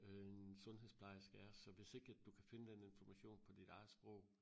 Øh en sundhedsplejerske er så hvis ikke at du kan finde den information på dit eget sprog